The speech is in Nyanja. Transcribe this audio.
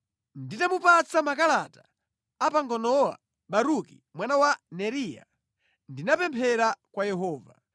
Nditamupatsa makalata a panganowa Baruki mwana wa Neriya, ndinapemphera kwa Yehova: